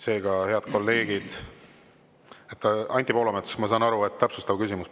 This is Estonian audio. Seega, head kolleegid, ma saan aru, et Anti Poolametsal on täpsustav küsimus.